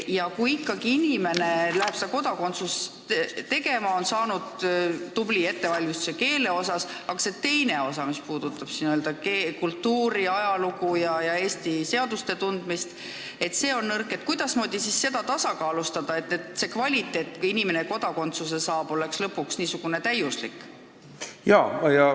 Ja kui Eesti kodakondsust taotleb inimene, kes on saanud tubli ettevalmistuse keele alal, kuid kellel teine osa, mis puudutab meie kultuuri, ajalugu ja seaduste tundmist, on nõrk, siis kuidasmoodi seda tasakaalustada, et me lõpuks saavutaks selle kodakondsuse saava inimese puhul n-ö täiusliku kvaliteedi?